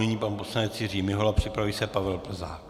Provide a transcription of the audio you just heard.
Nyní pan poslanec Jiří Mihola, připraví se Pavel Plzák.